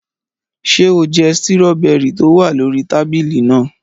Ṣé o jẹ stíróbẹrì tó wà lórí tábìlì náà?